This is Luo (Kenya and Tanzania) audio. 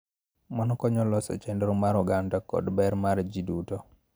Mano konyo loso chenro mar oganda kod ber mar ji duto.